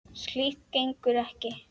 Slíkt gengur ekki.